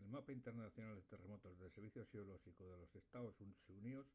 el mapa internacional de terremotos del serviciu xeolóxicu de los estaos xuníos